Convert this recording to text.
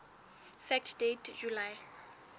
fact date july